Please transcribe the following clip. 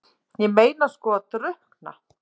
Ég meina sko að drukkna?